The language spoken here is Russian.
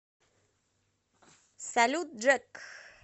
салют джек